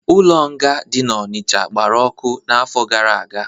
Ụlọ nga dị n'Onicha gbara ọkụ n'afọ gara aga